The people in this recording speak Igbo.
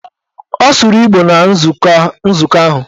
Ọ sụrụ Igbo na nzukọ ahụ.